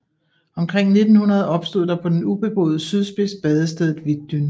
Omkring 1900 opstod der på den ubeboede sydspids badestedet Wittdün